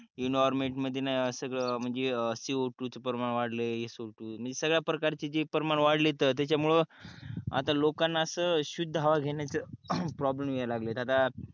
environment मध्ये सगळ C O two च प्रमाण वाढलंय सगळ्या परकरचे परमाणु वाढले त्याच्यामुळ आता लोकाना अस शुद्ध हवा घेण्याच प्रॉब्लेम यायला लागले आता